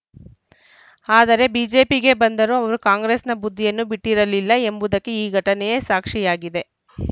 ಆದರೆ ಬಿಜೆಪಿಗೆ ಬಂದರೂ ಅವರು ಕಾಂಗ್ರೆಸ್‌ನ ಬುದ್ಧಿಯನ್ನು ಬಿಟ್ಟಿರಲಿಲ್ಲ ಎಂಬುದಕ್ಕೆ ಈ ಘಟನೆಯೇ ಸಾಕ್ಷಿಯಾಗಿದೆ